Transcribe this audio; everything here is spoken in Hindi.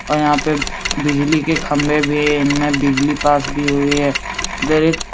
और यहाँ पे बिजली के खम्भे भी है। इनमें बिजली पास भी हुई है। इधर एक --